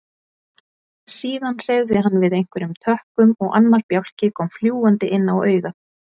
Síðan hreyfði hann við einhverjum tökkum og annar bjálki kom fljúgandi inn á augað.